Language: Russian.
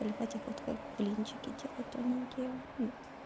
выливать их вот как блинчики делать тоненькие